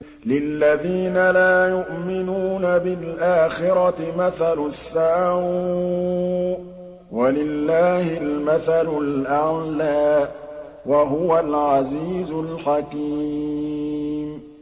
لِلَّذِينَ لَا يُؤْمِنُونَ بِالْآخِرَةِ مَثَلُ السَّوْءِ ۖ وَلِلَّهِ الْمَثَلُ الْأَعْلَىٰ ۚ وَهُوَ الْعَزِيزُ الْحَكِيمُ